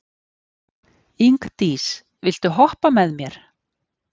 Ingdís, viltu hoppa með mér?